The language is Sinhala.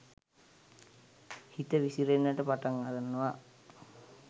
හිත විසිරෙන්න පටන් ගන්නව.